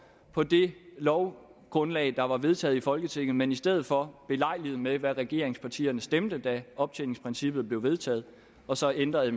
for det lovgrundlag der var vedtaget i folketinget men i stedet for belejligt med hvad regeringspartierne stemte da optjeningsprincippet blev vedtaget og så ændrede